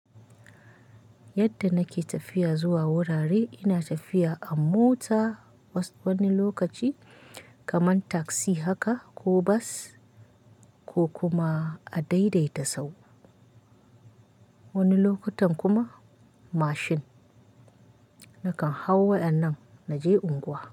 Yadda nake tafiya zuwa wurare ina tafiya a mota was wani lokaci kamar taksi haka ko bas ko kuma a daidaita sahu. Wani lokutan kuma mashin nakan hau waɗannan naje unguwa.